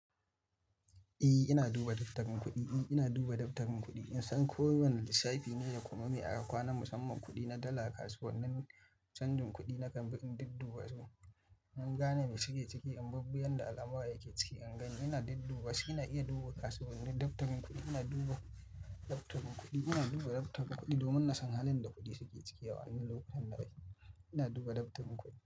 E, ina duba dabtarin kuɗi. E, ina duba dabtarin kuɗi. In san ko wane lissafi ne da kuma me aka kwana musamman kuɗi na dala a kasuwannin canjin kuɗi nakan bi in didduba su. In gane me suke ciki, amma kuma yanda alamura yake ciki, an gan ina didduba. Ina iya duba kasuwar dabtarin kuɗi. Ina duba dabtarin kuɗi. Ina duba dabtarin kuɗi domin nasan halin da kuɗin suke ciki a wannan lokacin da ake. Ina duba dabtarin kuɗi.